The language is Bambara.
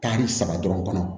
Kari saba dɔrɔn kɔnɔ